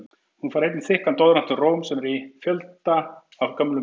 Hún fær einnig þykkan doðrant um Róm, sem í er fjöldi af gömlum myndum.